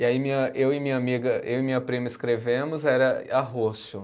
E aí minha, eu e minha amiga, eu e minha prima escrevemos, era arrocho.